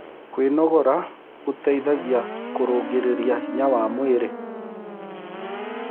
Kwĩnogora gũteĩthagĩa kũrũngĩrĩrĩa hinya wa mwĩrĩ